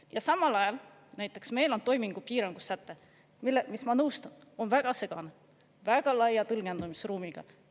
Ja samal ajal näiteks meil on toimingupiirangu säte, mis, ma nõustun, on väga segane, väga laia tõlgendamisruumiga.